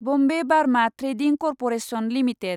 Bombay Burma trading corporation limited